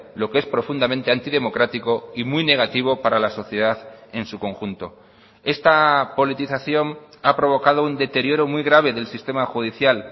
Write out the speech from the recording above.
lo que es profundamente antidemocrático y muy negativo para la sociedad en su conjunto esta politización ha provocado un deterioro muy grave del sistema judicial